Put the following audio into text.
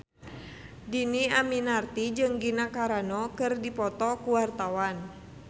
Dhini Aminarti jeung Gina Carano keur dipoto ku wartawan